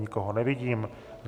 Nikoho nevidím.